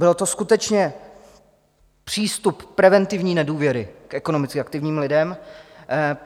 Byl to skutečně přístup preventivní nedůvěry k ekonomicky aktivním lidem.